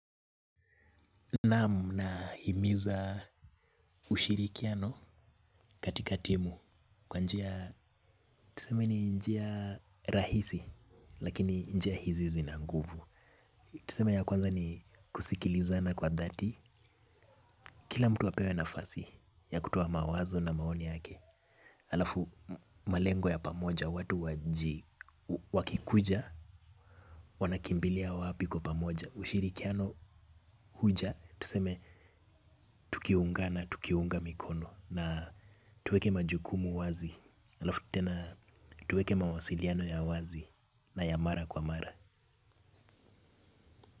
Naam nahimiza ushirikiano katika timu kwa njia tuseme ni njia rahisi lakini njia hizi zina nguvu. Tuseme ya kwanza ni kusikilizana kwa dhati. Kila mtu apewe nafasi ya kutoa mawazo na maoni yake. Alafu malengo ya pamoja watu wakikuja wanakimbilia wapi kwa pamoja, ushirikiano huja tuseme tukiungana, tukiunga mikono na tuweke majukumu wazi alafu tena tuweke mawasiliano ya wazi na ya mara kwa mara.